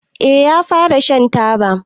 Eh ya fara Shan taba.